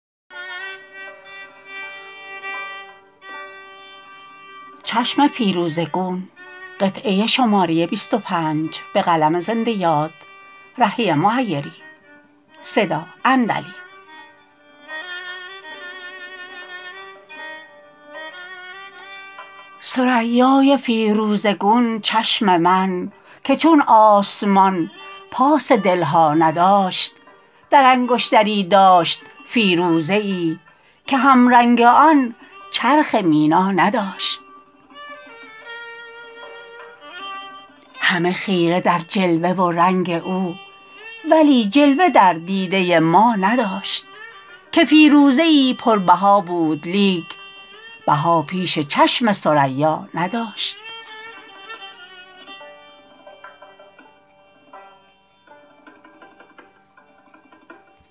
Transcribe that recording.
ثریای فیروزه گون چشم من که چون آسمان پاس دل ها نداشت در انگشتری داشت فیروزه ای که هم رنگ آن چرخ مینا نداشت همه خیره در جلوه و رنگ او ولی جلوه در دیده ما نداشت که فیروزه ای پربها بود لیک بها پیش چشم ثریا نداشت